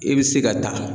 I bɛ se ka taa